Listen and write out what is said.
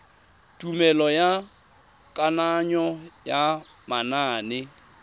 tumelelo ya kananyo ya manane